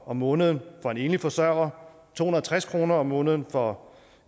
om måneden for en enlig forsørger to hundrede og tres kroner om måneden for